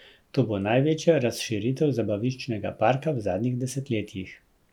To bo največja razširitev zabaviščnega parka v zadnjih desetletjih.